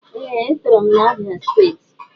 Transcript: Ee e tọrọ m na Abia steeti.